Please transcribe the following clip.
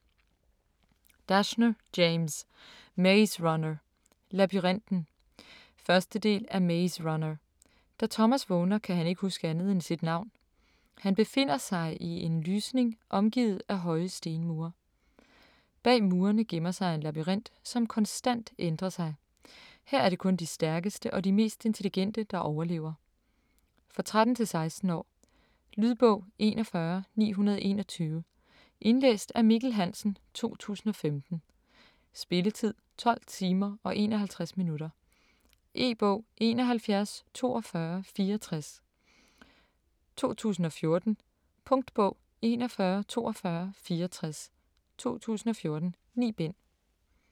Dashner, James: Maze runner - labyrinten 1. del af Maze runner. Da Thomas vågner kan han ikke huske andet end sit navn. Han befinder sig i en lysning omgivet af høje stemmure. Bag murerne gemmer sig en labyrint som konstant ændrer sig. Her er det kun de stærkeste og de mest intelligente, der overlever. For 13-16 år. Lydbog 41921 Indlæst af Mikkel Hansen, 2015. Spilletid: 12 timer, 51 minutter. E-bog 714264 2014. Punktbog 414264 2014. 9 bind.